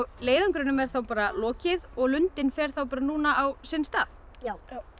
leiðangrinum er þá lokið og lundinn fer núna á sinn stað já